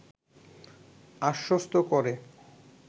আশ্বস্ত করে